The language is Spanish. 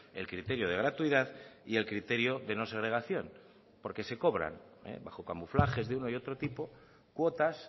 el criterio de gratuidad y el criterio de no segregación porque se cobran bajo camuflajes de uno y otro tipo cuotas